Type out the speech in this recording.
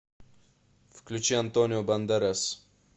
включи антонио бандерас